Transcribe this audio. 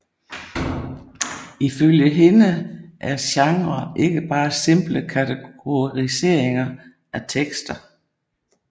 Ifølge hende er genre ikke bare simple kategoriseringer af tekster